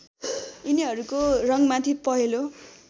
यिनीहरूको रङ्गमाथि पहेँलो